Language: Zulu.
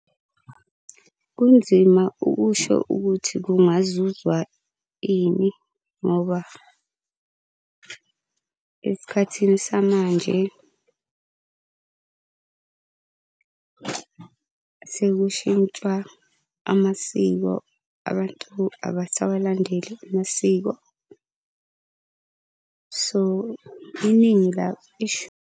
Kunzima ukusho ukuthi kungazuzwa ini ngoba esikhathini samanje sekushintshwa amasiko, abantu abasawalandeleli amasiko. So iningi .